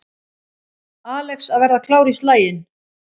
Alex að verða klár í slaginn